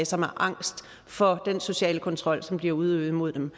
som er angst for den sociale kontrol som bliver udøvet imod dem